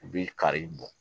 U bɛ kari bɔ